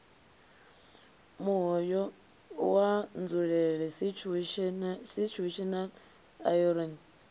muhoyo wa nzulele situational irony